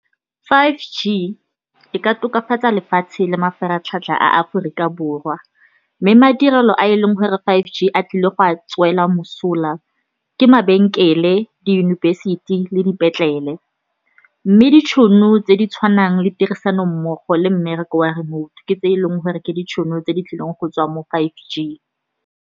Five G e ka tokafatsa lefatshe le mafaratlhatlha a Aforika Borwa, mme madirelo a e leng gore five G a tlile go a tswela mosola ke mabenkele, diyunibesithi le dipetlele. Mme ditšhono tse di tshwanang le tirisanommogo le mmereko wa remote, ke tse e leng gore ke ditšhono tse di tlileng go tswa mo five G.